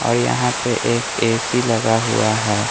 और यहां पे एक ए_सी लगा हुआ है।